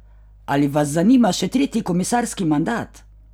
Ali vas zanima še tretji komisarski mandat?